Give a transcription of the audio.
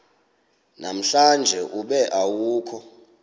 namhlanje ube awukho